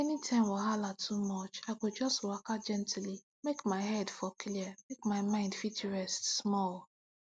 anytime wahala too much i go just waka gently make my head for clear make my mind fit rest small